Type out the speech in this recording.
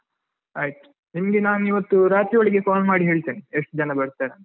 ಆಯ್ತು ನಿಮ್ಗೆ ನಾನ್ ಇವತ್ತು ರಾತ್ರಿ ಒಳಗೆ call ಮಾಡಿ ಹೇಳ್ತೇನೆ ಎಷ್ಟು ಜನ ಬರ್ತಾರಂತ.